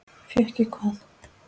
Fékk ég hvað?